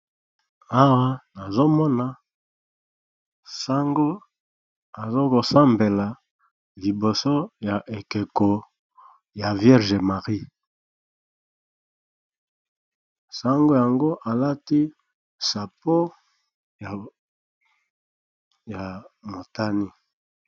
Awa nazo mona sango aza ko sambela liboso ya ekeko ya vierge marie, sango yango a lati chapeau ya motane .